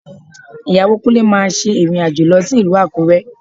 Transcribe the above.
Ìyàwó Kúnlé máa ṣe ìrìn-àjò lọ sí ìlú Àkúrẹ́